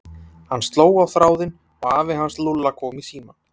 Hann sló á þráðinn og afi hans Lúlla kom í símann.